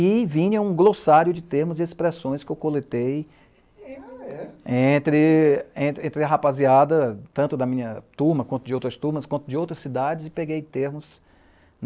E vinha um glossário de termos e expressões que eu coletei entre, entre, entre a rapaziada, tanto da minha turma, quanto de outras turmas, quanto de outras cidades, e peguei termos.